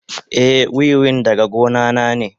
Eh, wiwin daga gona na ne.